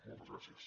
moltes gràcies